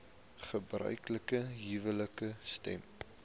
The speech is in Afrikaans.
gebruiklike huwelike stem